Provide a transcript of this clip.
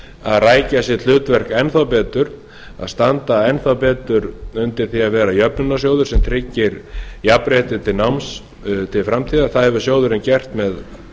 að rækja sitt hlutverk enn betur að standa enn betur undir því að vera jöfnunarsjóður sem tryggir jafnrétti til náms til framtíðar það hefur sjóðurinn gert með